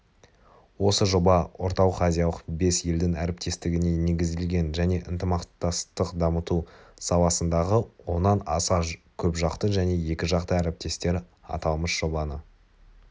осы жоба орталық-азиялық бес елдің әріптестігіне негізделген және ынтымақтастықты дамыту саласындағы оннан аса көпжақты және екіжақты әріптестер аталмыш жобаны